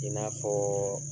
I n'a fɔ